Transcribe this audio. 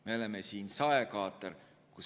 Me oleme siin saekaater.